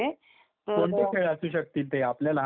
कोणते खेळ असू शकतील ते? आपल्या लहानपणीचे का?